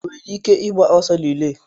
O nwere ike ịgba ọsọ rilee?